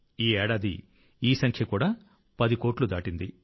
ఈ ఏడాది ఈ సంఖ్య కూడా 10 కోట్లు దాటింది